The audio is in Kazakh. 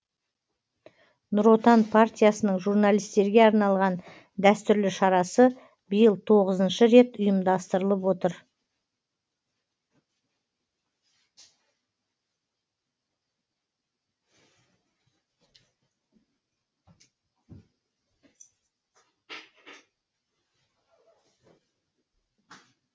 нұр отан партиясының журналистерге арналған дәстүрлі шарасы биыл тоғызыншы рет ұйымдастырылып отыр